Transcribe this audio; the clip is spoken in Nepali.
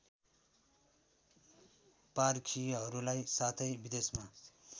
पारखीहरूलाई साथै विदेशमा